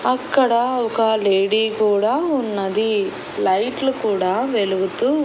అక్కడ ఒక లేడీ కూడా ఉన్నది లైట్లు కూడా వెలుగుతూ--